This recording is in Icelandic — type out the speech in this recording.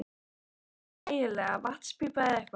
Hvað var þetta eiginlega, vatnspípa eða eitthvað?